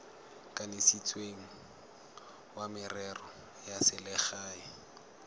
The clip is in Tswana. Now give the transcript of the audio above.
kanisitsweng wa merero ya selegae